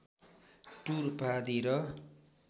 tour उपाधि र